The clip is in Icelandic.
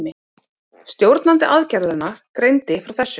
Stjórnandi aðgerðanna greindi frá þessu